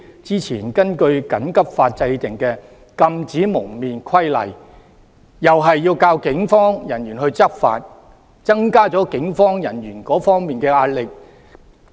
之前根據"緊急法"制定的《禁止蒙面規例》同樣要靠警方人員執法，增加了他們的壓力。